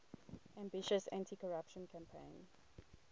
ambitious anticorruption campaign